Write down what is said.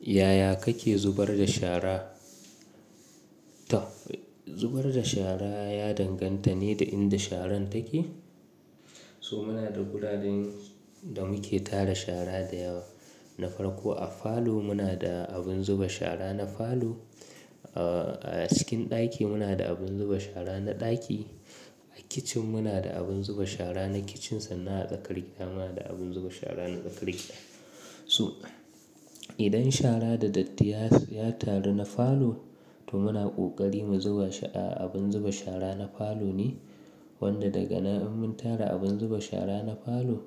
Yaya kake zubar da shara? To zubar da shara ya danganta ne da inda sharan take. So muna da guraren da muke tara shara da yawa. Na farko a falo muna da abin zuba shara na falo, a cikin ɗaki muna da abin zuba shara na ɗaki, a kicin muna da abin zuba shara na kicin sannan a tsakar gida muna da abin zuba shara na tsakar gida. So idan shara da datti ya taru na falo to muna ƙoƙari mu zuba a abin zuba shara na falo ne, wanda daga nan in mun tara abin zuba shara na falo